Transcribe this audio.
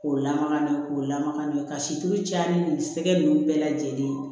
K'o lamaga n'o ye k'o lamaga n'o ye ka situlu caya ni nin sɛgɛ nunnu bɛɛ lajɛlen